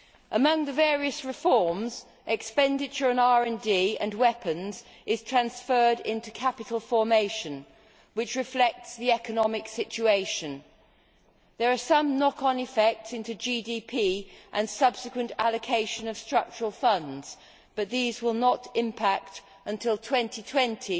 Among the various reforms, expenditure on RD and weapons is transferred into capital formation, which reflects the economic situation. There are some knock on effects on GDP and subsequent allocation of Structural Funds but these will not impact until 2020